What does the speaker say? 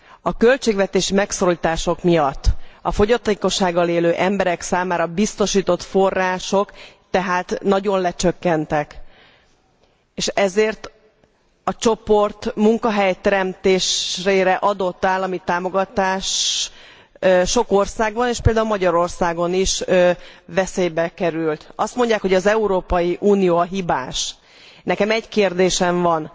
A költségvetési megszorítások miatt a fogyatékossággal élő emberek számára biztosított források tehát nagyon lecsökkentek. És ezért a csoport munkahelyteremtésére adott állami támogatás sok országban, és például Magyarországon is veszélybe került. Azt mondják, hogy az Európai Unió a hibás. Nekem egy kérdésem van.